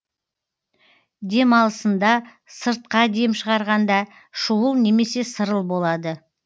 дем алысында сыртқа дем шығарғанда шуыл немесе сырыл болады